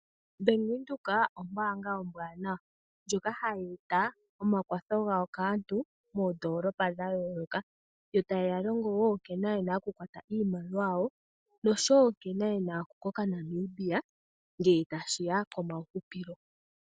Bank Windhoek ombaanga ombwaanawa ndjoka hayi eta omakwatho gayo kaantu moondolopa dha yooloka. Yo taye ya longo wo nkene yena okukwata iimaliwa yawo, noshowo nkene yena okukoka Namibia ngele tashi ya komahupilo.